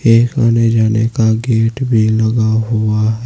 एक आने जाने का गेट भी लगा हुआ--